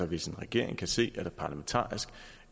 hvis en regering kan se at der parlamentarisk